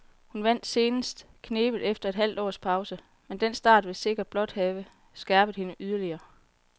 Hun vandt senest knebent efter et halvt års pause, men den start vil sikkert blot have skærpet hende yderligere.